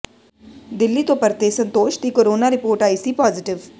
ਦਿੱਲੀ ਤੋਂ ਪਰਤੇ ਸੰਤੋਸ਼ ਦੀ ਕੋਰੋਨਾ ਰਿਪੋਰਟ ਆਈ ਸੀ ਪਾਜ਼ੇਟਿਵ